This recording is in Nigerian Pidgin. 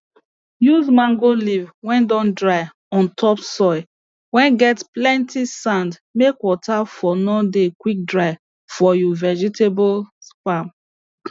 use mango leaf whey don dry on top soil whey get plenty sand make water for no dey quick dry for you vegetables farm